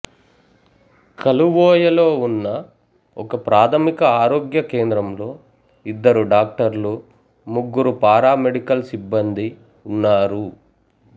కలువోయలో ఉన్న ఒకప్రాథమిక ఆరోగ్య కేంద్రంలో ఇద్దరు డాక్టర్లు ముగ్గురు పారా మెడికల్ సిబ్బందీ ఉన్నారు